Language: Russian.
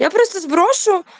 я просто сброшу